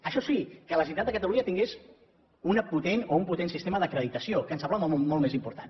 això sí que la generalitat de catalunya tingués una potent o un potent sistema d’acreditació que ens semblava molt més important